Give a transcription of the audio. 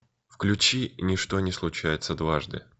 включи ничто не случается дважды